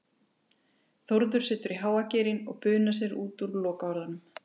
Þórður setur í háa gírinn og bunar út úr sér lokaorðunum